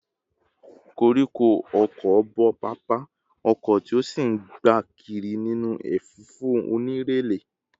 Koríko ọ̀kọ̀ bo pápá oko, tí ó sì ń gbá kiri nínú ẹ̀fúùfù onírẹ̀lẹ̀